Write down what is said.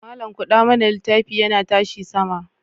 Malam kuɗa mana littafi yana tashi sama.